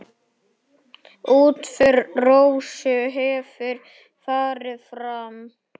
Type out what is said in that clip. Útför Rósu hefur farið fram.